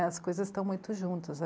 As coisas estão muito juntas.